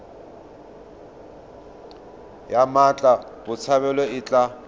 ya mmatla botshabelo e tla